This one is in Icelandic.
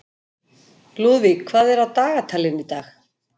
Lúðvíg, hvað er á dagatalinu í dag?